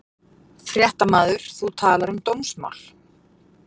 Fréttamaður: Þú talar um dómsmál?